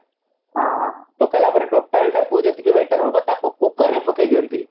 ହଁ ହଁ ପକେଇଲା ପରେ ଯେତିକି batter ହେବ ତାକୁ cooker ରେ ପକେଇ ଦିଅନ୍ତି